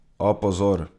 A, pozor!